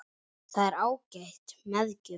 Það er ágæt meðgjöf